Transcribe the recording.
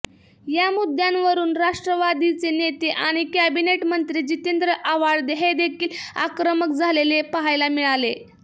या मुद्द्यावरून राष्ट्रवादीचे नेते आणि कॅबिनेट मंत्री जितेंद्र आव्हाड हेदेखील आक्रमक झालेले पाहायला मिळाले